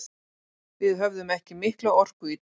Við höfðum ekki mikla orku í dag.